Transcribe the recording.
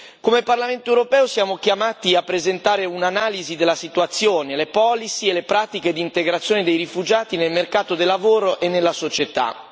Come Parlamento europeo, siamo chiamati a presentare un'analisi della situazione, le politiche e le pratiche di integrazione dei rifugiati nel mercato del lavoro e nella società.